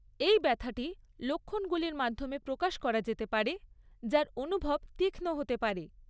এই ব্যথাটি লক্ষণগুলির মাধ্যমে প্রকাশ করা যেতে পারে, যার অনুভব তীক্ষ্ণ হতে পারে।